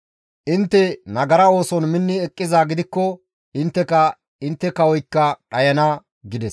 Intte nagara ooson minni eqqizaa gidikko intteka, intte kawoykka dhayana» gides.